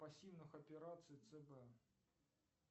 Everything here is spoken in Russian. пассивных операций цб